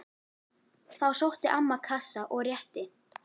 Þá sótti amman kassa og rétti